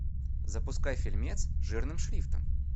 запускай фильмец жирным шрифтом